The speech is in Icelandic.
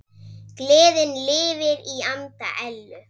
Gleðin lifir í anda Ellu.